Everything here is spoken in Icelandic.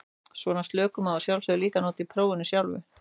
Svona slökun má að sjálfsögðu líka nota í prófinu sjálfu.